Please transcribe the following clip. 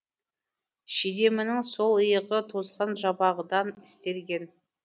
шидемінің сол иығы тозған жабағыдан істелген